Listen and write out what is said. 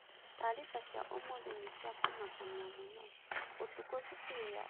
Taariba cia ũmũthĩ ni cia kũmakania mũno. Ũtuko cũkũrũ ya Endaraca ya Hillside nĩ ĩheirĩ.